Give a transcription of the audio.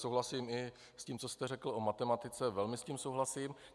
Souhlasím i s tím, co jste řekl o matematice, velmi s tím souhlasím.